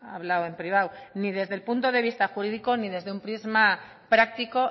hablado en privado ni desde el punto de vista jurídico ni desde un prisma práctico